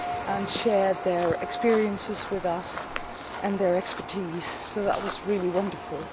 and shared their experiences with us and their expertise. That was really wonderful.